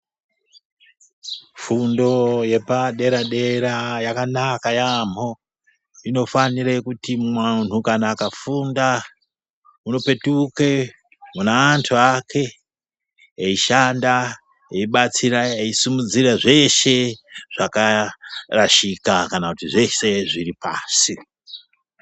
Fundo yepadera-dera yakanaka yamho. Inofanira kuti muntu akafunda unopetuke mune antu ake eishanda, eibatsira uye eisimudzira zveshe zvakarashika kana kuti zveshe zviripashi.